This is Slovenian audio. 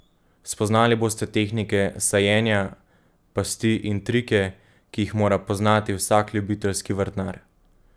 Spoznali boste tehnike sajenja, pasti in trike, ki jih mora poznati vsak ljubiteljski vrtnar.